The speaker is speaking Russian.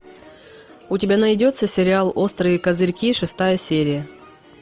у тебя найдется сериал острые козырьки шестая серия